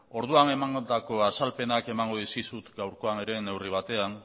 orduan emandako azalpenak emango dizkizut gaurkoan ere neurri batean